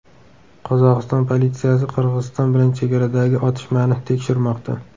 Qozog‘iston politsiyasi Qirg‘iziston bilan chegaradagi otishmani tekshirmoqda.